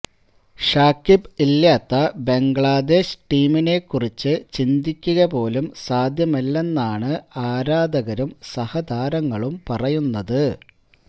ഷാക്കിബ് ഇല്ലാത്ത ബംഗ്ലാദേശ് ടീമിനെ കുറിച്ച് ചിന്തിക്കുക പോലും സാധ്യമല്ലെന്നാണ് ആരാധകരും സഹതാരങ്ങളും പറയുന്നത്